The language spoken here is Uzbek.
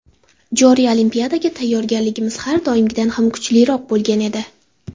Joriy Olimpiadaga tayyorgarligimiz har doimgidan ham kuchliroq bo‘lgan edi.